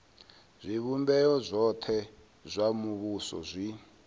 zwivhumbeo zwothe zwa muvhuso zwi